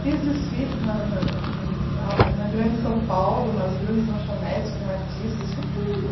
Fiz desfiles na na em em na grande São Paulo, nas grandes lanchonetes, com artistas, com tudo.